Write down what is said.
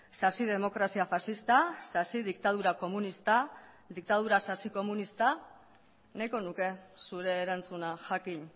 sasi demokrazia faxista sasi diktadura komunista diktadura sasi komunista nahiko nuke zure erantzuna jakin